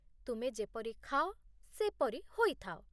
ତୁମେ ଯେପରି ଖାଅ, ସେପରି ହୋଇଥାଅ।